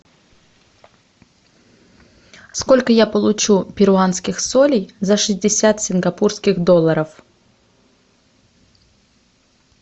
сколько я получу перуанских солей за шестьдесят сингапурских долларов